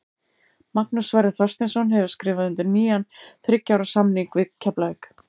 Magnús Sverrir Þorsteinsson hefur skrifað undir nýjan þriggja ára samning við Keflavík.